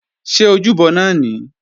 Ṣé ojúbọ náà nìí?